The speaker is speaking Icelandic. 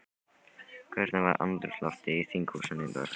Hvernig var andrúmsloftið í þinghúsinu í dag?